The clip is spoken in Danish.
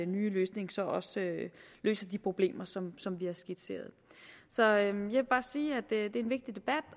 nye løsning så også løser de problemer som som vi har skitseret så jeg vil bare sige at det er en vigtig debat